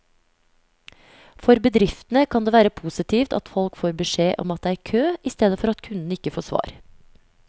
For bedriftene kan det være positivt at folk får beskjed om at det er kø, i stedet for at kunden ikke får svar.